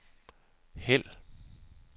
hæld